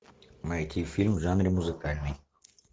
найти фильм в жанре музыкальный